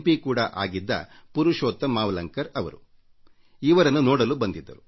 ಕೂಡಾ ಆಗಿದ್ದ ಪುರುಷೋತ್ತಮ್ ಮಾವಲಂಕರ್ ಅವರು ಇವರನ್ನು ನೋಡಲು ಬಂದಿದ್ದರು